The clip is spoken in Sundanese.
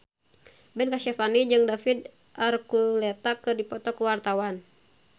Ben Kasyafani jeung David Archuletta keur dipoto ku wartawan